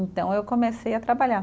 Então eu comecei a trabalhar.